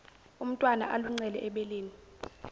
umntwana aluncele ebeleni